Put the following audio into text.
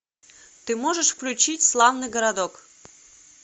ты можешь включить славный городок